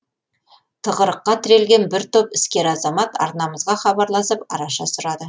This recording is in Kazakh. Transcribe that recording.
тығырыққа тірелген бір топ іскер азамат арнамызға хабарласып араша сұрады